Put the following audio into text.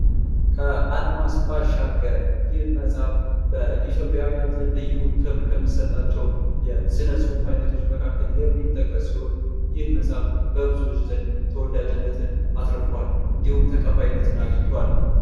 ከአድማስ ባሻገር ይህ መፅሀፍ በኢትዮጵያውያን ዘንድ ልዩ ክብር ከሚሰጣቸው የስነ ፅሁፍ አይነቶች መካከል የሚጠቀስ ሲሆን ይህ መጽሐፍ በብዙዎች ዘንድ ተወዳጅነትን አትርፏል ። እንዲሁም ተቀባይነትን አግኝቷል ።